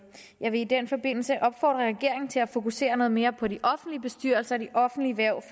jeg vil i den forbindelse opfordre regeringen til at fokusere noget mere på de offentlige bestyrelser og de offentlige hverv